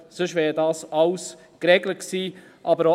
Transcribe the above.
Sonst wäre dies alles geregelt gewesen.